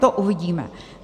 To uvidíme.